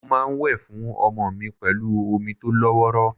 Mo máa ń wẹ̀ fún ọmọ mi pẹ̀lú omi tó lọ́wọ́rọ́.